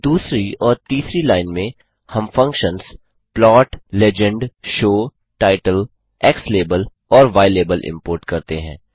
दूसरी और तीसरी लाइन में हम functions plot legend show title xlabel और ylabel इम्पोर्ट करते हैं